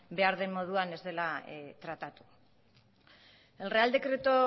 behar den moduan ez dela tratatu el real decreto